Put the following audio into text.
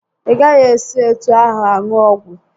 Ị gaghị esi etu ahụ aṅụ ọgwụ!